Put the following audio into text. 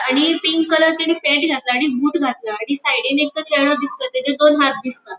आणि pink colour तेणे pant घातला आणि बूट घातला आणि साइडीन एकटो चेड़ो दिसता आणि तेजे दोन हाथ दिसता.